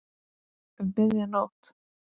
Um miðja nótt?